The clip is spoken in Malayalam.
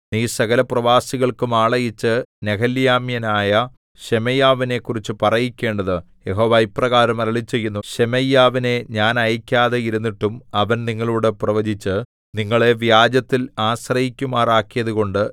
നീ സകലപ്രവാസികൾക്കും ആളയച്ച് നെഹെലാമ്യനായ ശെമയ്യാവിനെക്കുറിച്ച് പറയിക്കേണ്ടത് യഹോവ ഇപ്രകാരം അരുളിച്ചെയ്യുന്നു ശെമയ്യാവിനെ ഞാൻ അയക്കാതെ ഇരുന്നിട്ടും അവൻ നിങ്ങളോടു പ്രവചിച്ച് നിങ്ങളെ വ്യാജത്തിൽ ആശ്രയിക്കുമാറാക്കിയതുകൊണ്ട്